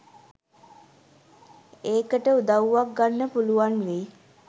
ඒකට උදව්වක් ගන්න පුළුවන් වෙයි .